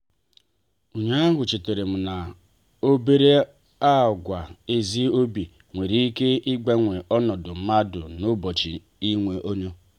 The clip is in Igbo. ụnyaahụ chetaram n'obere àgwà ezi obi nwere ike ịgbanwe ọnọdụ mmadụ n'ụbọchị niile.